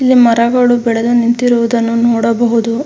ಇಲ್ಲಿ ಮರಗಳು ಬೆಳೆದು ನಿಂತಿರುವುದನ್ನು ನೋಡಬಹುದು.